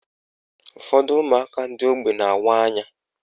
Ụfọdụ ụmụaka ndị ógbè na-awa anya